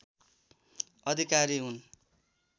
अधिकारी हुन्